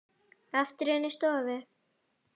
Aftur inn í stofu.